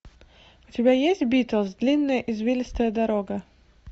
у тебя есть битлз длинная извилистая дорога